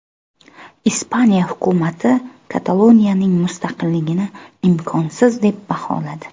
Ispaniya hukumati Kataloniyaning mustaqilligini imkonsiz deb baholadi.